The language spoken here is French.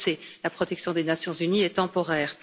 On le sait, la protection des Nations unies est temporaire.